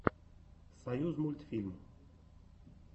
союзмультфильм